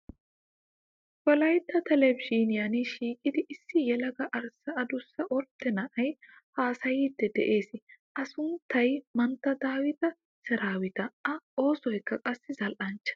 Wolayitta telbejiiniyaan shiiqidi issi yelaga arssa adussa ordde na"ayi haasayiiddi des. A sunttayi mantta daawita seraawita A oosoyikka qassi zal"nchcha.